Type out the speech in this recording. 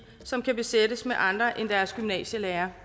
som kan besættes med andre end deres gymnasielærere